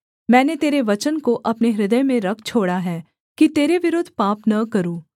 मैंने तेरे वचन को अपने हृदय में रख छोड़ा है कि तेरे विरुद्ध पाप न करूँ